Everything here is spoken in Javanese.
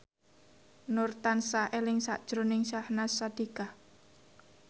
Nur tansah eling sakjroning Syahnaz Sadiqah